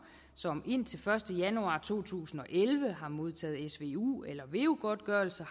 som indtil første januar to tusind og elleve har modtaget svu eller veu godtgørelse